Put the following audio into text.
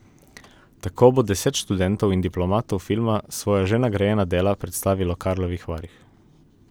Tako bo deset študentov in diplomantov filma svoja že nagrajena dela predstavilo v Karlovih Varih.